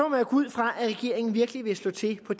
man gå ud fra at regeringen virkelig vil slå til på